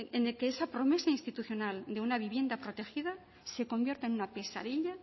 en el que esa promesa institucional de una vivienda protegida se convierta en una pesadilla